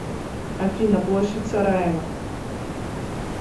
афина площадь сараево